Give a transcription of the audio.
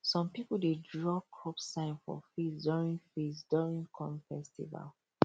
some people dey draw crop sign for face during face during corn festival